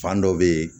Fan dɔ bɛ ye